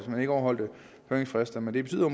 overholde høringsfrister men det betyder